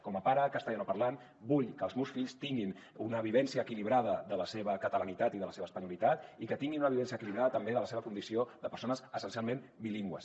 com a pare castellanoparlant vull que els meus fills tinguin una vivència equilibrada de la seva catalanitat i de la seva espanyolitat i que tinguin una vivència equilibrada també de la seva condició de persones essencialment bilingües